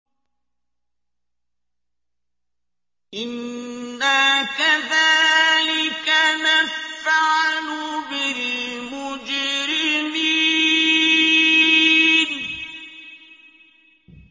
إِنَّا كَذَٰلِكَ نَفْعَلُ بِالْمُجْرِمِينَ